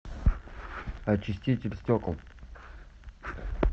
очиститель стекол